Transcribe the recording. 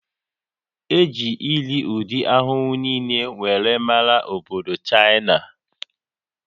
E ji irii ụdị ahụhụ niile wee mara obodo Chaịna